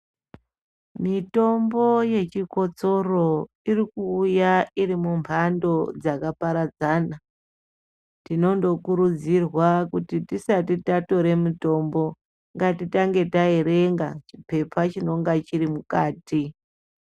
Mitombo yechikotsoro iri kuuya iri mumbando dzakaparadzana. Tinondokurudzirwa kuti tisati tatore mutombo ngatitange taerenga chipepa chinonga chiri mukati.